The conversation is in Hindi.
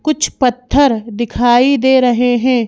कुछ पत्थर दिखाई दे रहे हैं।